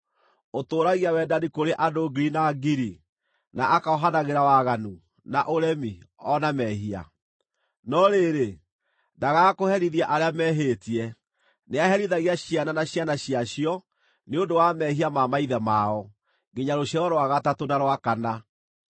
ũtũũragia wendani kũrĩ andũ ngiri na ngiri, na akohanagĩra waganu, na ũremi, o na mehia. No rĩrĩ, ndaagaga kũherithia arĩa mehĩtie; nĩaherithagia ciana na ciana ciacio nĩ ũndũ wa mehia ma maithe mao, nginya rũciaro rwa gatatũ na rwa kana.”